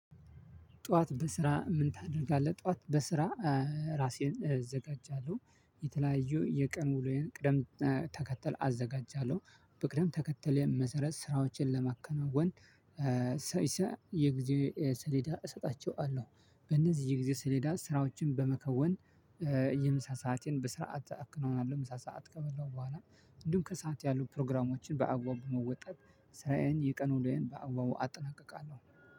ጠዋት በስራ ምን ታደርጋለህ? ጠዋት በስራ ራሴን እዘጋጃለሁ የተለያዩ የቀን ውሎዬን ቅድም ተከተል አዘጋጃለሁ በቅድም ተከተል መሰረት ስራዎችን ለማከናወን የጊዜ ሰሌዳ እሰጣቸዋለሁ በእነዚህ የጊዜ ሰሌዳ ስራዎችን በመከወን የምሳ ሰዓትን በስርዓት አከናውናለሁ የምሳ ሰዓት ከበላው በኋላ እንዲሁም ከሰአት ያሉ ፕሮግራሞችን በአግባቡ በመውጣት ስራዬን የቀን ዉሎዬን በአግባቡ አጠናቅቃለሁ።